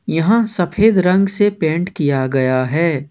यहां सफेद रंग से पेंट किया हुआ है।